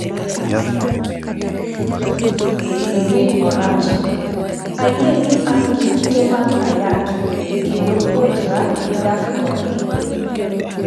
Doreen Moracha: ayie ni an gi kute mag ayaki kendo puonjra dak kodgi.